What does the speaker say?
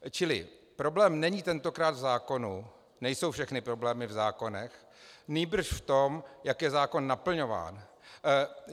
Čili problém není tentokrát v zákonu, nejsou všechny problémy v zákonech, nýbrž v tom, jak je zákon naplňován.